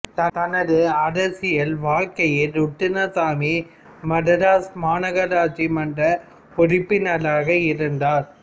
தனது அரசியல் வாழ்க்கையில் ருத்னசாமி மதராஸ் மாநகராட்சி மன்ற உறுப்பினராக இருந்தார்